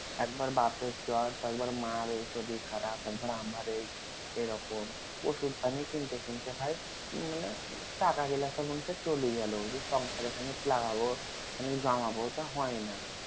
একবার বাপের জ্বর তো একবার মার এই শরীর খারাপ একবার আমার এই এইরকম অসুধ পানি কিনতে কিনতে ভাই মানে টাকা গিলা সব চলি গেলো সংসার খানিক লাগাবো খানিক জমাবো তা হয়না